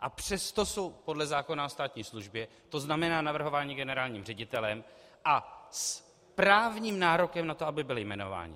a přesto jsou podle zákona o státní službě, to znamená navrhováni generálním ředitelem a s právním nárokem na to, aby byli jmenováni.